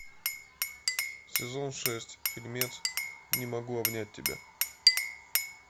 сезон шесть фильмец не могу обнять тебя